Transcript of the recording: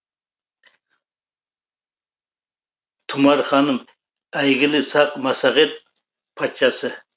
тұмар ханым әйгілі сақ массагет патшасы